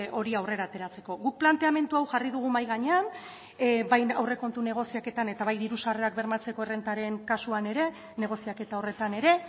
hori aurrera ateratzeko guk planteamendu hau jarri dugu mahai gainean bai aurrekontu negoziaketan eta bai diru sarrerak bermatzeko errentaren kasuan ere negoziaketa horretan ere